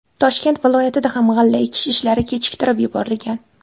Toshkent viloyatida ham g‘alla ekish ishlari kechiktirib yuborilgan.